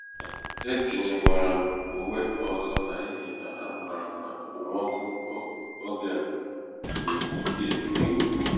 e tinyekwara m uwe ọzọ n'ihi na amaara m na okpomọkụ oge a dị ike nke ukwuu.